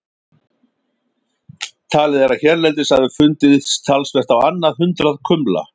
Talið er að hérlendis hafi fundist talsvert á annað hundrað kumla.